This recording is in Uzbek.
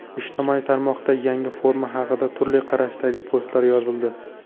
Ijtimoiy tarmoqda yangi forma haqida turli qarashdagi postlar yozildi.